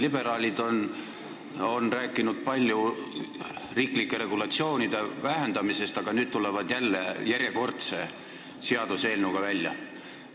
Liberaalid on palju rääkinud riiklike regulatsioonide vähendamisest, aga tulevad nüüd järjekordse seaduseelnõuga välja.